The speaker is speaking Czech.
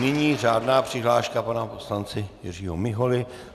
Nyní řádná přihláška pana poslance Jiřího Miholy.